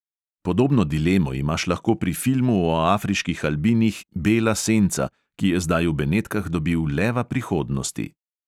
Podobno dilemo imaš lahko pri filmu o afriških albinih bela senca, ki je zdaj v benetkah dobil leva prihodnosti.